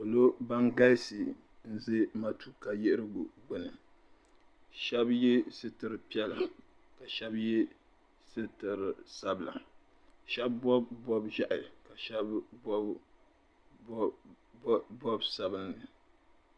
Niriba ban galisi n-ʒe matuuka din yihiri gbuni ka shɛba ye sitir'piɛla shɛba ye sitir'sabila shɛba bɔbu bɔb'ʒehi shɛba bɔbu bɔb'sabinli